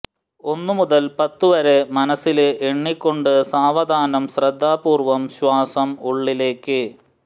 ഒന്നു മുതല് പത്തു വരെ മനസില് എണ്ണിക്കൊണ്ട് സാവധാനം ശ്രദ്ധാപൂര്വം ശ്വാസം ഉള്ളിലേക്ക്